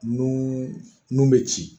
Nun nun bɛ ci